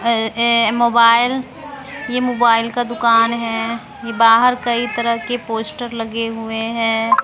ये मोबाइल ये मोबाइल का दुकान है ये बाहर कई तरह के पोस्टर लगे हुए हैं।